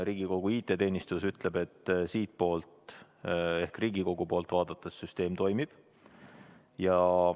Riigikogu IT-teenistus ütleb, et siitpoolt ehk Riigikogu poolt vaadates süsteem toimib.